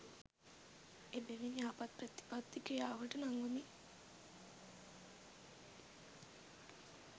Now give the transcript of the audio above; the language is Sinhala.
එබැවින් යහපත් ප්‍රතිපත්ති ක්‍රියාවට නංවමින්